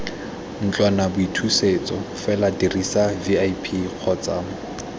ntlwanaboithusetso fela dirisa vip kgotsa